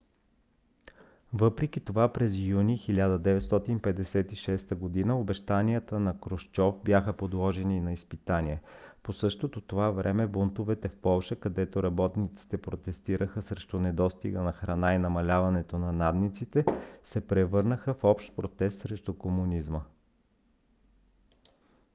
въпреки това през юни 1956 г. обещанията на крушчов бяха подложени на изпитание. по същото това време бунтовете в полша където работниците протестираха срещу недостига на храна и намаляването на надниците се превърнаха в общ протест срещу комунизма